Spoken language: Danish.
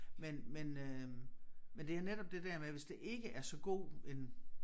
Men men øh men det er netop det der med hvis det ikke er så god en